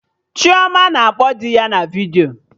Chioma na-akpọ karị dị ya na vidiyo